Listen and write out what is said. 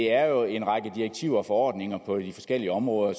er jo en række direktiver og forordninger på de forskellige områder